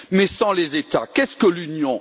Mais, sans les États, qu'est ce que l'Union?